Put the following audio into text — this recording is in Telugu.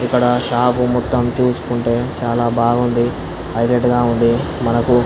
ఇక్కడ షాప్ మొత్తమ్ చూస్తుంటే మొతం చాలా బాగుంది హైలైట్ గ ఉంది. మనకు --